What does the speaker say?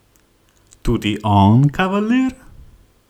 Tudi on kavalir?